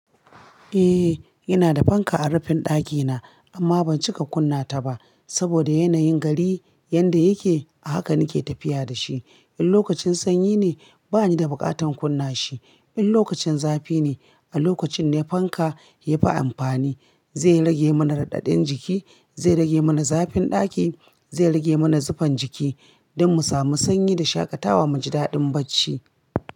Eh, ina da fanka a rufin dakina amma ban cika kunna ta ba saboda yanayin gari yadda yake haka nake tafiya da shi. In lokacin sanyi ne bani da buƙatar kunna shi, in lokacin zafi ne a lokacin ne fanka yafi amfani, zai rage mana raɗaɗin jiki, zai rage mana zafin daki, zai rage mana zufan jiki dan mu samu sanyi da shakatawa mu ji daɗin bacci.